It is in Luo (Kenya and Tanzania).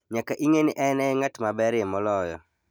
Nyaka ing'e ni en e ng'at maberie moloyo.